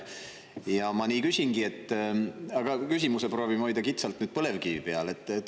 Ja ma nii küsingi, proovides hoida kitsalt põlevkivi peal.